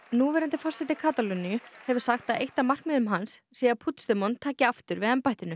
núverandi forseti Katalóníu hefur sagt að eitt af markmiðum hans sé að taki aftur við embættinu